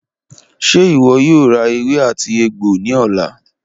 Ṣe iwọ yoo ra ewé àti egbo ni ọla?